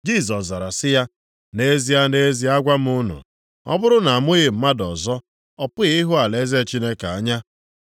Jisọs zara sị ya, “Nʼezie, nʼezie agwa m unu, ọ bụrụ na amụghị mmadụ ọzọ, ọ pụghị ịhụ alaeze Chineke anya.”